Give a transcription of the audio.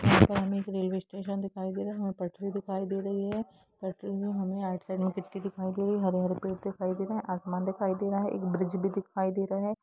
यहाँ पे हमें एक रेलवे स्टेशन दिखाइ दे रहा है हमे पटरी दिखाय दे रही है पटरी में हमें राइट साइड में व्यक्ति दिखाय दे रहे है हरे-हरे पेड़ दिखाय दे रहे है आसमान दिखाय दे रहा है एक ब्रिज भी दिखाय दे रहा हैं।